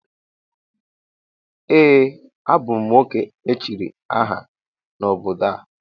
Ee, a bụ m nwoke echiri aha n’obodo a